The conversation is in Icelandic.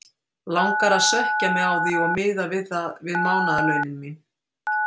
Langar að svekkja mig á því og miða það við mánaðarlaunin mín!